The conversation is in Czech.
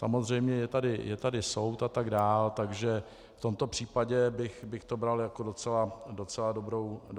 Samozřejmě je tady soud atd., takže v tomto případě bych to bral jako docela dobrou věc.